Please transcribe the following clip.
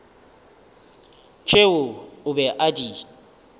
tšeo o be a di